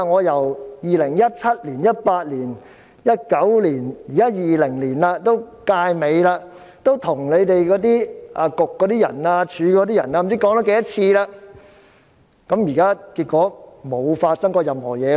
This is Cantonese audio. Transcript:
由2017年、2018年、2019年到現在2020年，本屆立法會已快完結，我跟局方、署方多番提出意見，結果政府甚麼也沒有做過。